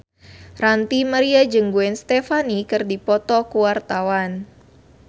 Ranty Maria jeung Gwen Stefani keur dipoto ku wartawan